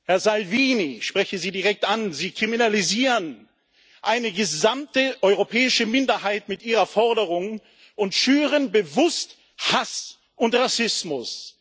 Herr Salvini, ich spreche Sie direkt an, Sie kriminalisieren eine gesamte europäische Minderheit mit Ihrer Forderung und schüren bewusst Hass und Rassismus.